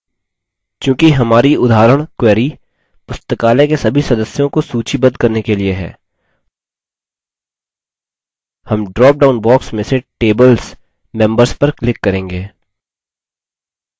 चूँकि हमारी उदाहरण query पुस्तकालय के सभी सदस्यों को सूचीबद्ध करने के लिए है हम drop down box में से tables: members पर click करेंगे